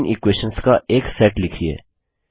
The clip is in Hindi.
तीन इक्वेशंस का एक सेट लिखिए